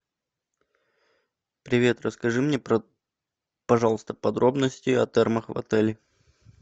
привет расскажи мне пожалуйста подробности о термах в отеле